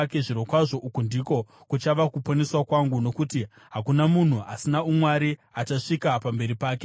Zvirokwazvo, uku ndiko kuchava kuponeswa kwangu, nokuti hakuna munhu asina umwari achasvika pamberi pake!